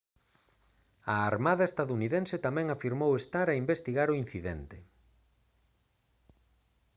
a armada estadounidense tamén afirmou estar a investigar o incidente